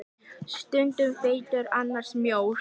Stundum feitur, annars mjór.